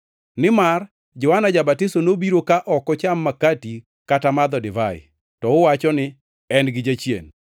Nimar Johana Ja-batiso nobiro ka ok ocham makati kata madho divai, to uwacho ni, ‘En gi jachien.’